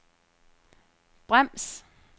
brems